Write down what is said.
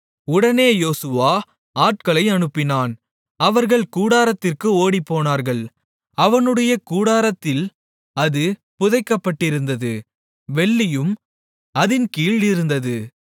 உடனே யோசுவா ஆட்களை அனுப்பினான் அவர்கள் கூடாரத்திற்கு ஓடினார்கள் அவனுடைய கூடாரத்தில் அது புதைக்கப்பட்டிருந்தது வெள்ளியும் அதின் கீழ் இருந்தது